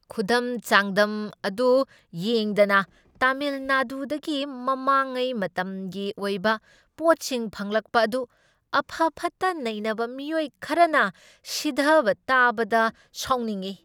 ꯈꯨꯗꯝ ꯆꯥꯡꯗꯝ ꯑꯗꯨ ꯌꯦꯡꯗꯅ ꯇꯥꯃꯤꯜ ꯅꯥꯗꯨꯗꯒꯤ ꯃꯃꯥꯡꯉꯩ ꯃꯇꯝꯒꯤ ꯑꯣꯏꯕ ꯄꯣꯠꯁꯤꯡ ꯐꯪꯂꯛꯄ ꯑꯗꯨ ꯑꯐ ꯐꯠꯇ ꯅꯩꯅꯕ ꯃꯤꯑꯣꯏ ꯈꯔꯅ ꯁꯤꯙꯕ ꯇꯥꯕꯗ ꯁꯥꯎꯅꯤꯡꯢ꯫